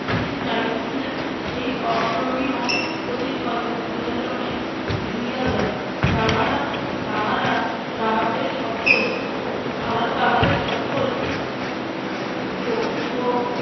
তিনি চাহিতেছিলেন এই অপূরণীয় ক্ষতির কথা জনসাধারনের ভুলিয়া যাক। তাহারা তাহারা তাহাদের সকল তাহারা তাহাদের সকল শক্তি ও